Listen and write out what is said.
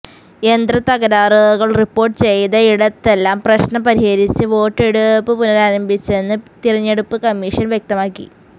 യന്ത്രത്തകരാറുകൾ report ചെയ്ത ഇടത്തെല്ലാം പ്രശ്നം പരിഹരിച്ച് വോട്ടെടുപ്പ് പുനരാരംഭിച്ചെന്ന് തിരഞ്ഞെടുപ്പ് കമ്മീഷൻ വ്യക്തമാക്കി